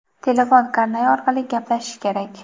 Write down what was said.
telefon karnayi orqali gaplashish kerak.